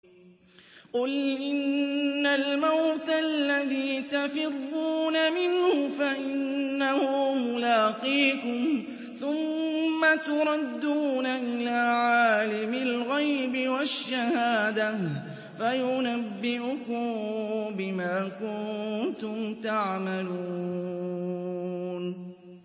قُلْ إِنَّ الْمَوْتَ الَّذِي تَفِرُّونَ مِنْهُ فَإِنَّهُ مُلَاقِيكُمْ ۖ ثُمَّ تُرَدُّونَ إِلَىٰ عَالِمِ الْغَيْبِ وَالشَّهَادَةِ فَيُنَبِّئُكُم بِمَا كُنتُمْ تَعْمَلُونَ